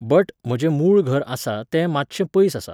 But, म्हजें मूळ घर आसा तें मातशें पयस आसा.